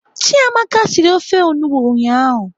Chiamaka siri ofe onugbo ụnyaahụ.